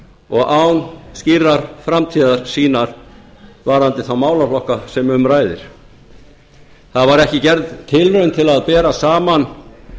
og án skýrrar framtíðarsýnar varðandi þá málaflokka sem um ræðir það var ekki gerð tilraun til að bera saman